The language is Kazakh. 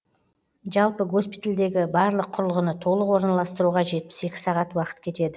жалпы госпитальдегі барлық құрылғыны толық орналастыруға жетпіс екі сағат уақыт кетеді